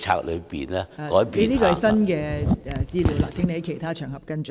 這是新的資料，請在其他場合跟進。